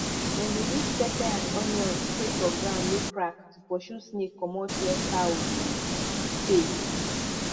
dem dey use pepper and onion spray for ground wey crack to pursue snake comot where cow dey stay